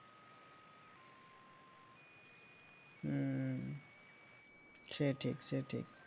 হম সে ঠিক সে ঠিক ।